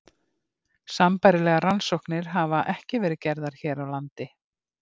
Sambærilegar rannsóknir hafa ekki verið gerðar hér á landi.